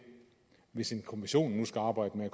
hvis en kommission nu skal arbejde